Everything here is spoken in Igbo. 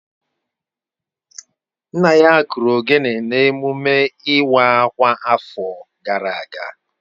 Nna ya kụrụ ogene na emume iwa akwa afo gara aga